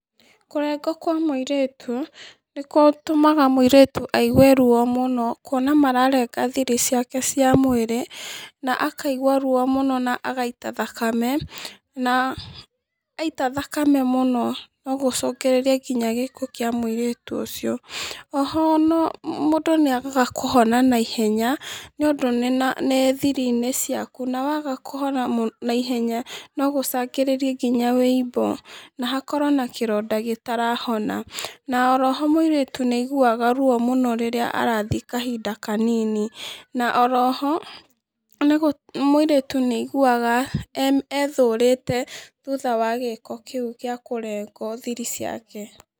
Kũrengwo kwa mũirĩtu, nĩkũtũmaga mũirĩtu aigwe ruo mũno kuona mararenga thiri ciake cia mwĩrĩ na akaigua ruo mũno na akaita thakame, na, aita thakame mũno nogũcũngĩrĩrie nginya gĩkuũ kĩa mũirĩtu ũcio, oho no, mũndũ nĩagaga kũhona naihenya, nĩũndũ nĩna nĩ thiri-inĩ ciaku, na waga kũhona mũ naihenya nogũcangĩrĩrie nginya wũimbo, na hakorwo na kĩronda gĩtarahona, na oro ho mũirĩtu nĩaiguaga ruo mũno rĩrĩa arathi kahinda kanini, na oro ho mũirĩtu, nĩaiguaga e ethũrĩte thutha wa gĩko kĩu gĩa kũrengwo thiri ciake.